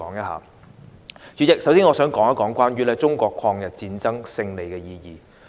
代理主席，首先，我想談一談中國抗日戰爭勝利的意義。